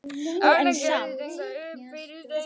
Þarna gægðist eitthvað upp fyrir stein.